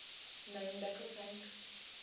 main battle tank